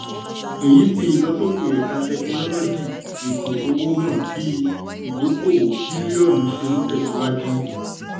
èyí fi ìlọsókè ẹ̀ka tẹkinọ́lọ́gì-ètò-owó hàn bí ìdókóòwò bìlíọ̀nù ṣe ń tèsíwájú.